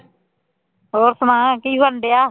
ਹੋਰ ਸੁਣਾ ਕੀ ਬਣਨਡਿਆ